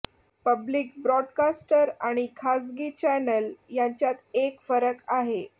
public broadcaster आणि खासगी channel यांच्यात एक फरक आहे